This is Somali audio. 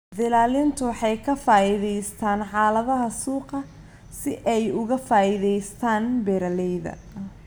Dillaaliintu waxay ka faa'iidaystaan ??xaaladaha suuqa si ay uga faa'iidaystaan ??beeralayda.